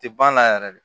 Tɛ banna yɛrɛ de